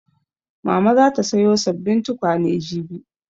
Mama za ta sayo sabbin tukwane jibi